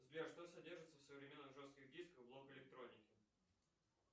сбер что содержится в современных жестких дисках блок электроники